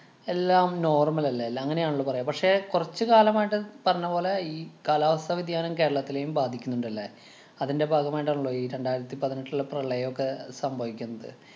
എല്ലാം normal അല്ലേ. ല്ലാം അങ്ങനെയാണല്ലോ പറയുക. പക്ഷേ കൊറച്ചു കാലമായിട്ടു പറഞ്ഞപോലെ ഈ കാലാവസ്ഥ വ്യതിയാനം കേരളത്തിനെയും ബാധിക്കുന്നുണ്ടല്ലേ. അതിന്‍റെ ഭാഗമായിട്ടാണല്ലോ ഈ രണ്ടായിരത്തി പതിനെട്ടിലെ പ്രളയൊക്കെ സംഭവിക്കുന്നത്.